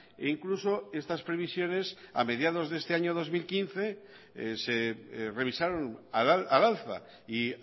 e incluso estas previsiones a mediados de este año dos mil quince se revisaron al alza y